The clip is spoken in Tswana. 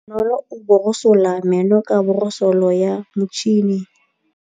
Bonolô o borosola meno ka borosolo ya motšhine.